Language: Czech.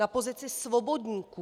Na pozici svobodníků!